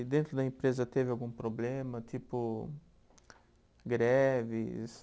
E dentro da empresa teve algum problema, tipo greves?